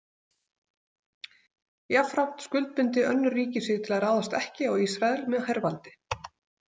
Jafnframt skuldbindi önnur ríki sig til að ráðast ekki á Ísrael með hervaldi.